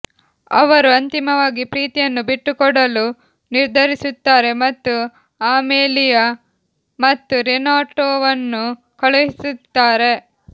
ಅವರು ಅಂತಿಮವಾಗಿ ಪ್ರೀತಿಯನ್ನು ಬಿಟ್ಟುಕೊಡಲು ನಿರ್ಧರಿಸುತ್ತಾರೆ ಮತ್ತು ಅಮೆಲಿಯಾ ಮತ್ತು ರೆನಾಟೋವನ್ನು ಕಳುಹಿಸುತ್ತಾರೆ